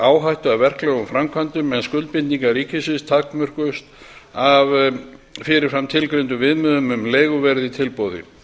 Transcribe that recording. áhættu af verklegum framkvæmdum en skuldbindingar ríkisins takmörkuðust af fyrir fram tilgreindum viðmiðum um leiguverð í tilboði